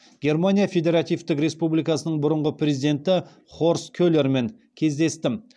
германия федеративтік республикасының бұрынғы президенті хорст келермен кездестім